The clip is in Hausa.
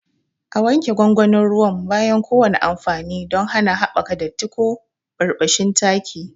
A wanke gwangwanin ruwan bayan kowane amfani don hana haɓakar datti ko birbishin taki.